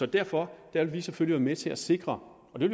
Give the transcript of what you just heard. derfor vil vi selvfølgelig med til at sikre og det